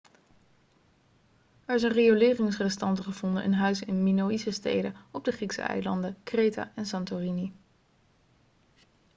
er zijn rioleringsrestanten gevonden in huizen in de minoïsche steden op de griekse eilanden kreta en santorini